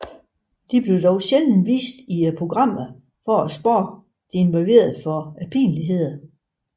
De bliver dog sjældent vist i programmerne for at spare de involverede for pinligheder